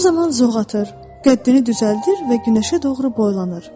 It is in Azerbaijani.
O zaman zoğ atır, qəddini düzəldir və günəşə doğru boylanır.